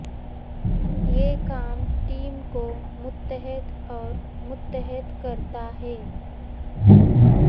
یہ کام ٹیم کو متحد اور متحد کرتا ہے